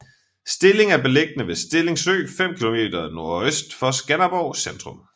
Stilling er beliggende ved Stilling Sø 5 kilometer NØ for Skanderborg centrum